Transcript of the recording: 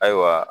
Ayiwa